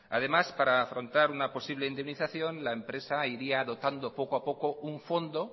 además para afrontar una posible indemnización la empresa iría dotando un fondo poco a poco un fondo